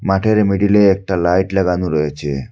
মাঠের মিডিলে একটা লাইট লাগানো রয়েছে।